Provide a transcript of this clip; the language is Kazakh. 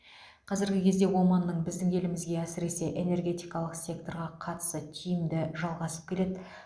қазіргі кезде оманның біздің елімізге әсіресе энергетикалық секторға қатысы тиімді жалғасып келеді